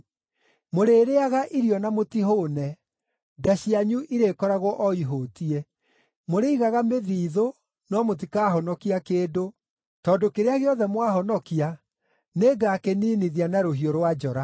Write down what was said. Mũrĩrĩĩaga irio na mũtihũũne, nda cianyu irĩkoragwo o ihũtiĩ. Mũrĩigaga mĩthiithũ, no mũtikahonokia kĩndũ, tondũ kĩrĩa gĩothe mwahonokia nĩngakĩniinithia na rũhiũ rwa njora.